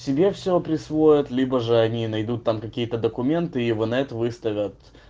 себе все присвоят либо же они найдут там какие-то документы и в инет выставят